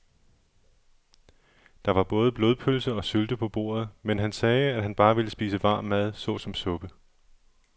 Der var både blodpølse og sylte på bordet, men han sagde, at han bare ville spise varm mad såsom suppe.